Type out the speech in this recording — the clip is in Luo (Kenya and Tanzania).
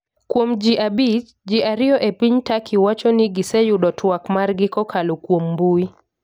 Kuom ji abich , ji ario e piny Turkey wacho ni giseyudo twak margi kokalo kuom mbui.